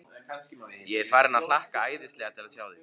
Ég er farinn að hlakka æðislega til að sjá þig.